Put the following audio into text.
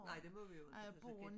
Nej de må vi ikke for kan